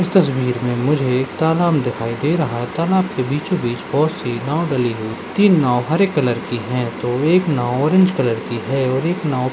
इस तस्बीर में मुझे एक तालाब दिखाई दे रहा है तालब के बीचों-बीच बहुत सी नाव डली हुई तीन नाव हरे कलर की हैं तो एक नाव ऑरेंज कलर की है और एक नाव --